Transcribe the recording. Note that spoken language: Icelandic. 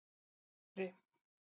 Hamri